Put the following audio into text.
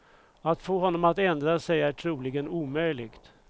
Att få honom att ändra sig är troligen omöjligt.